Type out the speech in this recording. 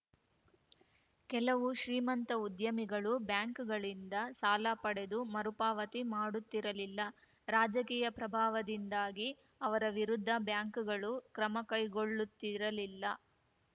ಕೆಲವು ಶ್ರೀಮಂತ ಉದ್ಯಮಿಗಳು ಬ್ಯಾಂಕ್‌ಗಳಿಂದ ಸಾಲ ಪಡೆದು ಮರುಪಾವತಿ ಮಾಡುತ್ತಿರಲಿಲ್ಲ ರಾಜಕೀಯ ಪ್ರಭಾವದಿಂದಾಗಿ ಅವರ ವಿರುದ್ಧ ಬ್ಯಾಂಕ್‌ಗಳು ಕ್ರಮ ಕೈಗೊಳ್ಳುತ್ತಿರಲಿಲ್ಲ